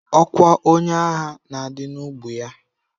Ọkwa onye agha na-adị n'ubu ya.